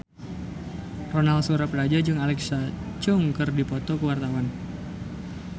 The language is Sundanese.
Ronal Surapradja jeung Alexa Chung keur dipoto ku wartawan